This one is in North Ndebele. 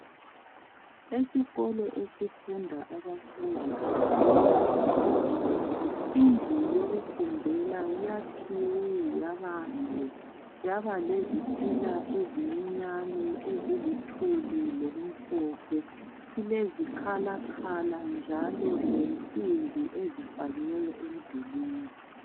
Esikolo esifunda abafundi abakuzinga eliphansi. Indlu yokufundela yakhiwe yabande yabalezitina ezincinyane eziluthuli lokumhlophe ilezikhalakhala njalo lensimbi ezifakiweyo emidulwini